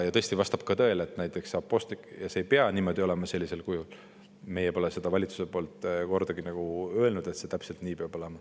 Tõesti, vastab ka tõele, et see ei pea niimoodi olema sellisel kujul, meie pole valitsuses kordagi öelnud, et see täpselt nii peab olema.